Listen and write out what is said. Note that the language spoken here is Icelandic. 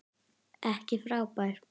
Ekki frábær.